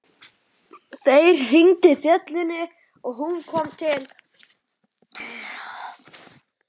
Þeir hringdu bjöllunni og hún kom til dyra.